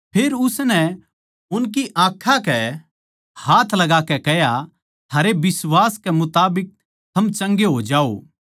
फेर उसनै उनकी आँखां कै हाथ लगाकै कह्या थारै बिश्वास के मुताबिक थम चंगे होजाओ